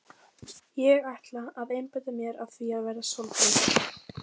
Ég ætla að einbeita mér að því að verða sólbrún.